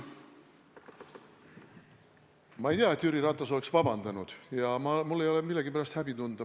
Ma ei tea, et Jüri Ratas oleks vabandanud, ja mul ei ole millegi pärast häbi tunda.